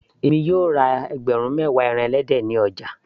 èmi yóò ra ẹgbẹ̀rún mewa pọ́ọ̀kì ní ọjà